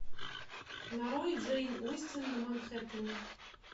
нарой джейн остин на манхэттене